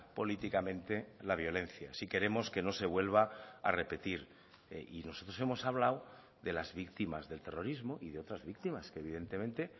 políticamente la violencia si queremos que no se vuelva a repetir y nosotros hemos hablado de las víctimas del terrorismo y de otras víctimas que evidentemente